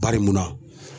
Baria